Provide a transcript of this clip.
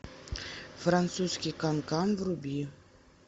французский канкан вруби